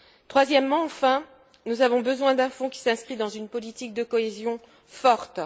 Troisièmement enfin, nous avons besoin d'un fonds qui s'inscrive dans une politique de cohésion forte.